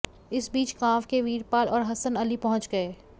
इस बीच गांव के वीरपाल और हसन अली पहुंच गए